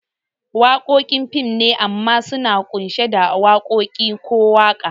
Wakoki fim ne amma suna kunshi da wakoki ko waka